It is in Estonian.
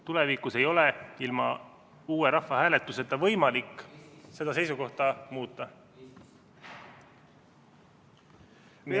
Tulevikus ei ole ilma uue rahvahääletuseta võimalik seda seisukohta muuta.